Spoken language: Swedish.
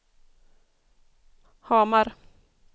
Hamar